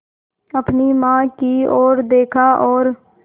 अपनी माँ की ओर देखा और